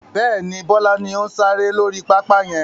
Bẹ́ẹ̀ni, Bọlá ni ó ń sáré lórí pápá yẹn